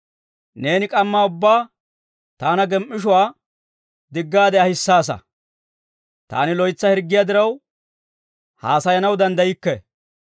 Neeni k'amma ubbaa taana gem"ishshuwaa diggaade ahissaasa. Taani loytsa hirggiyaa diraw, haasayanaw danddaykke.